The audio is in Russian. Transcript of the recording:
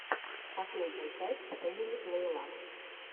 последняя часть фэмили плейлаб